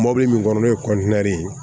Mɔbili min kɔnɔ n'o ye ye